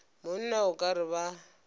monna o ka re ba